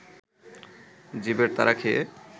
জীবের তাড়া খেয়ে